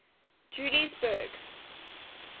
juliesburg